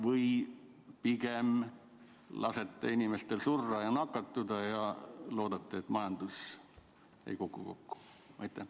Või pigem lasete inimestel surra ja nakatuda ja loodate, et majandus ei kuku kokku?